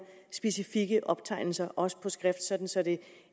specifikke optegnelser også på skrift sådan så det